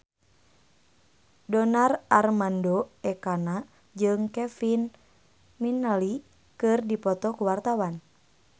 Donar Armando Ekana jeung Kevin McNally keur dipoto ku wartawan